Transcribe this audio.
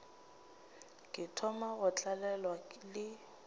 ke thoma go tlalelwa le